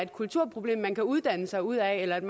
kulturproblem man kan uddanne sig ud af eller et